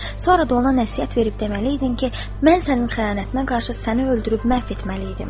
Sonra da ona nəsihət verib deməliydin ki, mən sənin xəyanətinə qarşı səni öldürüb məhv etməli idim.